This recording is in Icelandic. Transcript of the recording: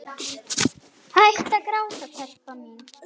Hættu að gráta, telpa mín.